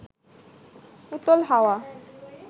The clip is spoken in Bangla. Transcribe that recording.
উতল হাওয়া